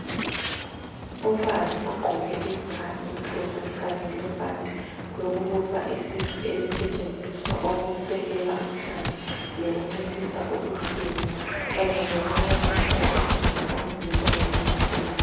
Umfazi ogqoke i-bra emhlophe Kanye lebhanti lokubopha isisu elisetshenziswa ukusekela umhlane linciphisa ubuhlungu Kanye lokuncedisa ukugcina umzimba uzinzile.